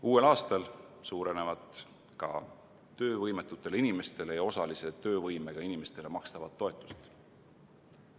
Uuel aastal suurenevad ka töövõimetutele inimestele ja osalise töövõimega inimestele makstavad toetused.